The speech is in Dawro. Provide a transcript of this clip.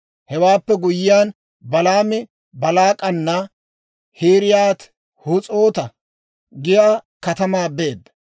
Hewaappe guyyiyaan, Balaami Baalaak'ana K'iriyaati-Hus'oota giyaa katamaa beedda.